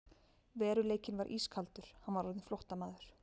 Veruleikinn var ískaldur: Hann var orðinn flóttamaður.